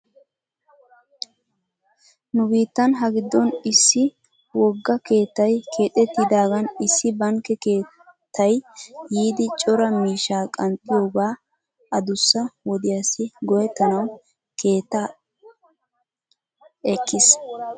Nu biittan hagiddon issi wogga keettay keexettidaagan issi bankke keettay yiidi cora miishshaa qanxxiyooga adussa wodiyaassi go'ettanaw he keettaa ekkis.